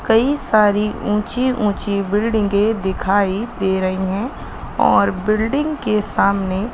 कई सारी ऊंची ऊंची बिल्डिंगे के दिखाई दे रही है और बिल्डिंग के सामने--